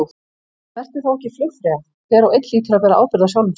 Vertu þá ekki flugfreyja, hver og einn hlýtur að bera ábyrgð á sjálfum sér.